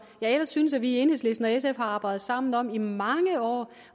jeg ellers synes vi i enhedslisten og sf har arbejdet sammen om i mange år